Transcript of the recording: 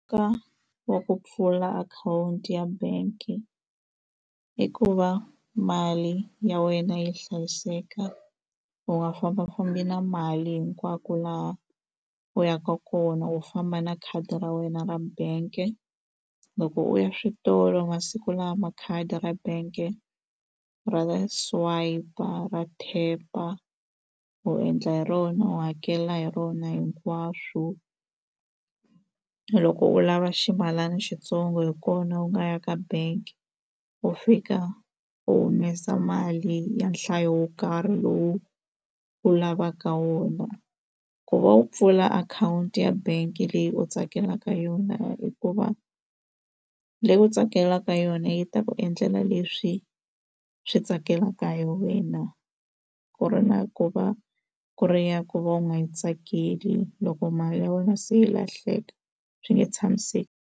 Ka wa ku pfula akhawunti ya bank i ku va mali ya wena yi hlayiseka u nga fambafambi na mali hinkwako laha u yaka kona u famba na khadi ra wena ra bank-e loko u ya switolo masiku lama khadi ra bank-e ra swayipa ra tap-a u endla hi rona u hakela hi rona hinkwaswo u loko u lava ximalana xitsongo hi kona u nga ya ka bank u fika u humesa mali ya nhlayo wo karhi lowu u lavaka wona ku va u pfula akhawunti ya bangi leyi u tsakelaka yona i ku va leyi u tsakelaka yona yi ta ku endlela leswi swi tsakelaka hi wena ku ri na ku va ku ri ya ku va u nga yi tsakeli loko mali ya wena se yi lahleka swi nge tshamiseki.